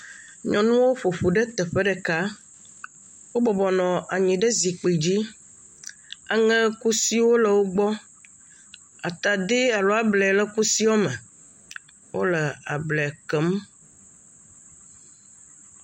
Nyɔnuwo ƒo ƒu ɖe teƒe ɖeka. Wo bɔbɔ nɔ anyi ɖe zikpi dzi. Aŋɛkusiwo le wogbɔ. Atadi alo ablɛ le kusiwo me. Wole ablɛ kɛɛm.